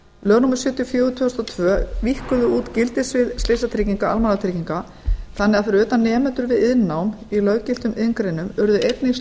lög númer sjötíu og fjögur tvö þúsund og tvö víkkuðu út gildissvið slysatrygginga almannatrygginga þannig að fyrir utan nemendur við iðnnám í löggiltum iðngreinum urðu einnig